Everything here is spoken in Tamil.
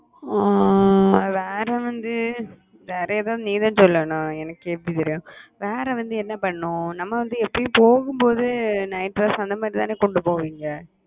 ஆஹ் வேற வந்து வேற ஏதாவது நீ தான் சொல்லணும் எனக்கு எப்பிடி தெரியும் வேற வந்து என்ன பண்ணனும் நம்ம வந்து எப்பவும் போகும்போது night dress அந்த மாதிரி தான போட்டுட்டு போவோம் இங்க